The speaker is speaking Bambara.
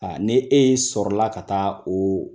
ni e sɔrɔ la ka taa o